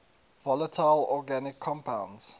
volatile organic compounds